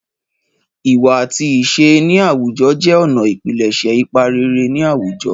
Ìwà àti ìṣe ní àwùjọ jẹ́ ọ̀nà ìpilẹ̀ṣẹ̀ ipa rere ní àwùjọ.